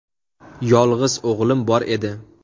Yolg‘iz o‘g‘lim bor edi.